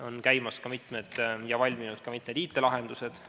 On käimas ja valminud ka mitmed IT-lahendused.